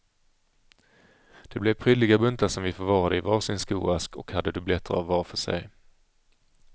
Det blev prydliga buntar som vi förvarade i var sin skoask och hade dubbletter av var för sig.